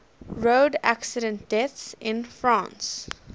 road accident deaths in france